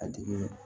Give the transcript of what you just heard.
A dimi